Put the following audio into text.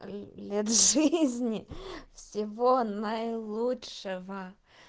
лет жизни всего наилучшего